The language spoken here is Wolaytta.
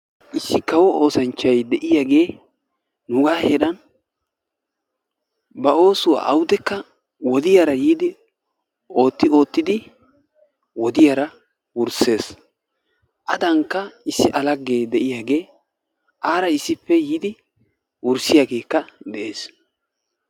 Issi kawo oosanchchay de'iyagee nuugaa heeran ba oosuwa awudekka wodiyara yiidi ootti oottidi wodiyara wurssees. Adankka issi A laggee de'iyagee aara issippe yiidi wurssiyagee de'ees?